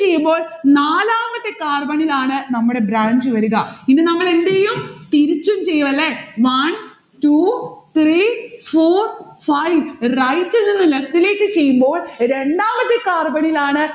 ചെയ്യുമ്പോൾ നാലാമത്തെ carbon ഇലാണ് നമ്മടെ branch വരിക. ഇനി നമ്മൾ എന്തെയും? തിരിച്ചും ചെയ്യും അല്ലെ. one two three four five. right ഇൽനിന്ന് left ഇലേക്ക് ചെയ്യുമ്പോൾ രണ്ടാമത്തെ carbon ഇലാണ്